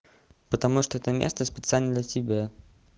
потому что это место специально для тебя